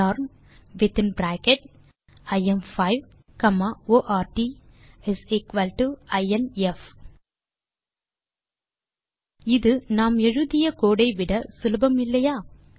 norm within bracket im5ordinf இது நாம் எழுதிய கோடு ஐ விட சுலபம் இல்லையா